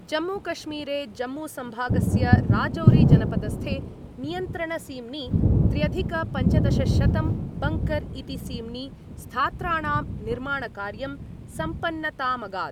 जम्मूकश्मीरे जम्मूसम्भागस्य राजौरीजनपदस्थे नियन्त्रणसीम्नि त्र्यधिकपञ्चदशशतं बङ्कर् इति सीम्नि स्थात्राणां निर्माणकार्यं सम्पन्नतामगात्।